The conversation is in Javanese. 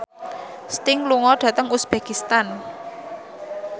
Sting lunga dhateng uzbekistan